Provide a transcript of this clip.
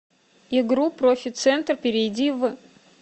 игру профи центр перейди в